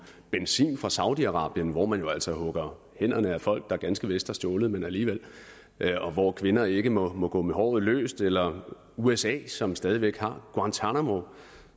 benzin fra saudi arabien hvor man jo altså hugger hænderne af folk der ganske vist har stjålet men alligevel og hvor kvinder ikke må må gå med håret løst eller usa som stadig væk har guantánamo